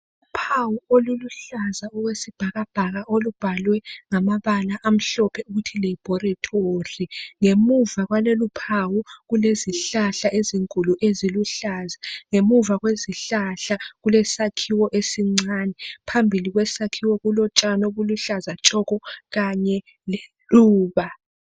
Uphawu oluluhlaza okwesibhakabhaka olubhalwe ngamabala amhlophe ukuthi lebhoretori. Ngemuva kwaloluphawu kulezihlahla ezinkulu eziluhlaza. Ngemuva kwezihlahla kulesakhiwo esincane. Phambili kwesakhiwo kulotshani obuluhlaza tshoko Kanye leluba.